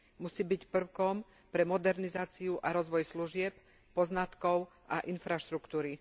Musí byť prvkom pre modernizáciu a rozvoj služieb, poznatkov a infraštruktúry.